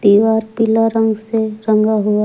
दीवार पिला रंग से रंगा हुआ है।